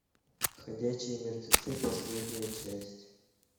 ходячие мертвецы последняя часть